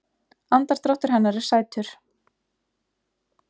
Andardráttur hennar er sætur.